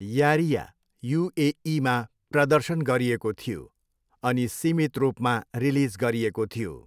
यारिया युएईमा प्रदर्शन गरिएको थियो अनि सीमित रूपमा रिलिज गरिएको थियो।